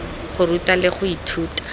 go ruta le go ithuta